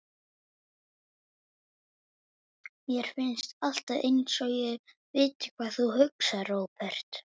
Mér finnst alltaf einsog ég viti hvað þú hugsar, Róbert.